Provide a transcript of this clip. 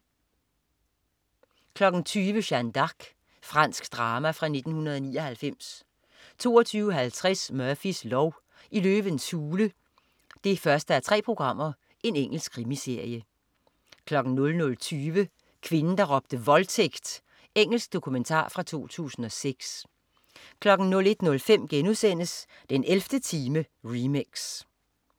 20.00 Jeanne d'Arc. Fransk drama fra 1999 22.50 Murphys lov: I løvens hule 1:3. Engelsk krimiserie 00.20 Kvinden der råbte voldtægt! Engelsk dokumentar fra 2006 01.05 den 11. time remix*